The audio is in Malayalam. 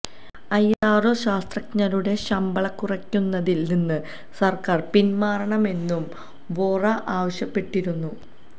ഐഎസ്ആര്ഒ ശാസ്ത്രജ്ഞരുടെ ശമ്പളം കുറയ്ക്കുന്നതില് നിന്ന് സര്ക്കാര് പിന്മാറണമെന്നും വോറ ആവശ്യപ്പെട്ടിരുന്നു